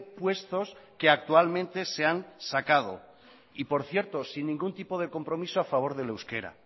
puestos que actualmente se han sacado y por cierto sin ningún tipo de compromiso a favor del euskera